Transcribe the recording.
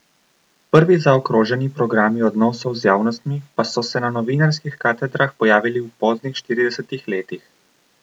Prvi zaokroženi programi odnosov z javnostmi pa so se na novinarskih katedrah pojavili v poznih štiridesetih letih.